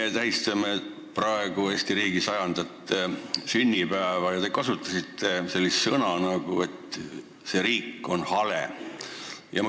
Me tähistame praegu Eesti riigi 100. sünnipäeva ja teie kasutasite sellist väljendit, et see riik on hale.